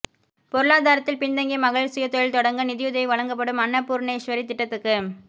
பொருளாதாரத்தில் பின்தங்கிய மகளிர் சுயதொழில் தொடங்க நிதியுதவி வழங்கப்படும் அன்னபூர்ணேஸ்வரி திட்டத்துக்கு